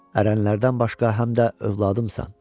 Ərənlərdən başqa həm də övladımsan.